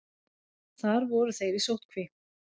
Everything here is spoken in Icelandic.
Þar voru þeir í sóttkví.